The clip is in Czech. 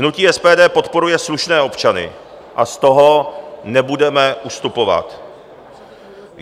Hnutí SPD podporuje slušné občany a z toho nebudeme ustupovat.